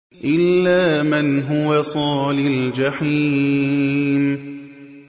إِلَّا مَنْ هُوَ صَالِ الْجَحِيمِ